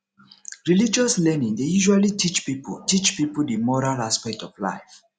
religious learning dey usually teach pipo teach pipo di moral aspect of life